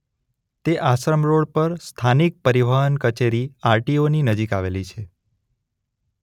તે આશ્રમ રોડ પર સ્થાનિક પરિવહન કચેરી આર.ટી.ઓ ની નજીક આવેલી છે.